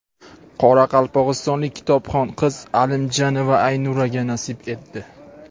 qoraqalpog‘istonlik kitobxon qiz Alimjanova Aynuraga nasib etdi!.